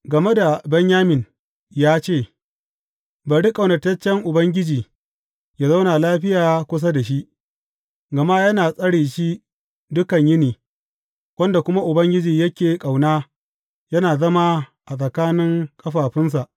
Game da Benyamin ya ce, Bari ƙaunataccen Ubangiji yă zauna lafiya kusa da shi, gama yana tsare shi dukan yini, wanda kuma Ubangiji yake ƙauna yana zama a tsakanin kafaɗunsa.